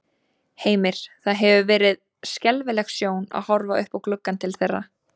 Heimir: Það hefur verið skelfileg sjón að horfa upp í gluggann til þeirra?